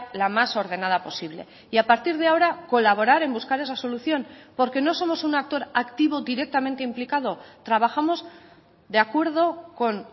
la más ordenada posible y a partir de ahora colaborar en buscar esa solución porque no somos un actor activo directamente implicado trabajamos de acuerdo con